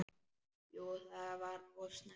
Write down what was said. Jú það var of snemmt.